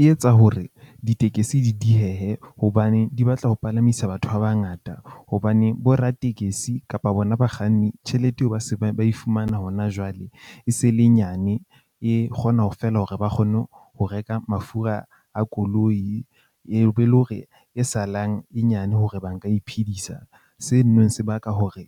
E etsa hore ditekesi di diehe hobane di batla ho palamisa batho ba bangata hobane boratekesi kapa bona bakganni tjhelete eo, ba se ba ba ifumana hona jwale. E se le nyane, e kgona ho feela hore ba kgone ho reka mafura a koloi, e be le hore e salang e nyane hore ba nka iphedisa. Se neng se baka hore